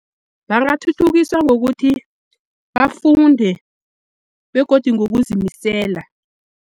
Bangathuthukiswa ngokuthi bafunde begodu ngokuzimisela.